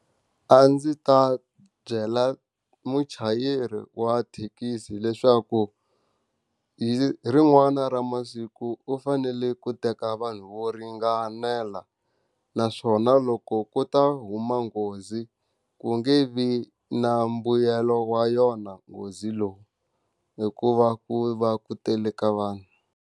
A ndzi ta byela muchayeri wa thekisi leswaku, hi rin'wana ra masiku u fanele ku teka vanhu vo ringanela. Naswona loko ku ta huma nghozi, ku nge vi na mbuyelo wa yona nghozi lowu hikuva ku va ku tele ka vanhu.